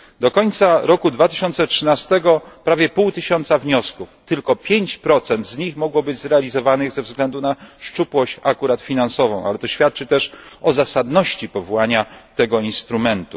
Do końca roku 2013 prawie pół tysiąca wniosków tylko 5 z nich mogło być zrealizowanych ze względu na szczupłość finansową, ale to świadczy też o zasadności powołania tego instrumentu.